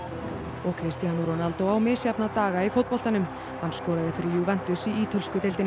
og Cristiano Ronaldo á misjafna daga í fótboltanum hann skoraði fyrir Juventus í ítölsku deildinni